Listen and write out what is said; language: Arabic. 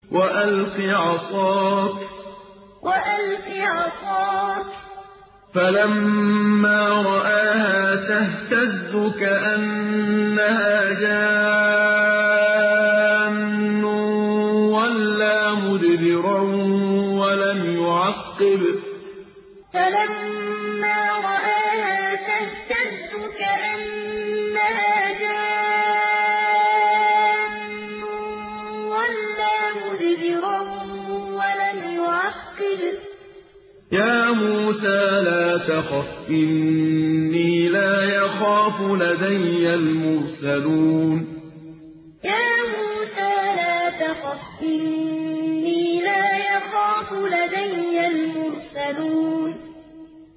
وَأَلْقِ عَصَاكَ ۚ فَلَمَّا رَآهَا تَهْتَزُّ كَأَنَّهَا جَانٌّ وَلَّىٰ مُدْبِرًا وَلَمْ يُعَقِّبْ ۚ يَا مُوسَىٰ لَا تَخَفْ إِنِّي لَا يَخَافُ لَدَيَّ الْمُرْسَلُونَ وَأَلْقِ عَصَاكَ ۚ فَلَمَّا رَآهَا تَهْتَزُّ كَأَنَّهَا جَانٌّ وَلَّىٰ مُدْبِرًا وَلَمْ يُعَقِّبْ ۚ يَا مُوسَىٰ لَا تَخَفْ إِنِّي لَا يَخَافُ لَدَيَّ الْمُرْسَلُونَ